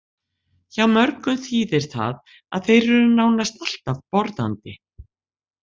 Hjá mörgum þýðir það að þeir eru nánast alltaf borðandi.